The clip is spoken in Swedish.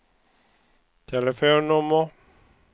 telefonnummer